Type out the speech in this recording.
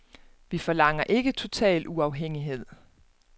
Vi forlanger ikke total uafhængighed.